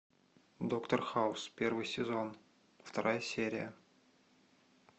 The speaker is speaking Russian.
доктор хаус первый сезон вторая серия